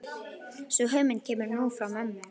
Sú hugmynd kemur nú frá mömmu.